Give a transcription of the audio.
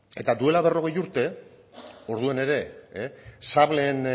eta duela berrogei urte orduan ere sableen